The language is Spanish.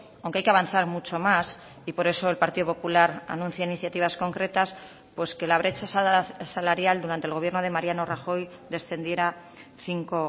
aunque hay que avanzar mucho más y por eso el partido popular anuncia iniciativas concretas pues que la brecha salarial durante el gobierno de mariano rajoy descendiera cinco